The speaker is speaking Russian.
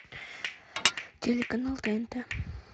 телеканал тнт